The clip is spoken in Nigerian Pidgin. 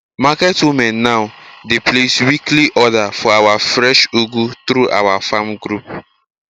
market women now dey place weekly order for our fresh ugu through our farm group